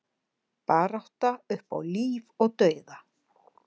Barátta upp á líf og dauða